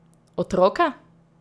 Otroke?